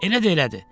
Elə də elədi.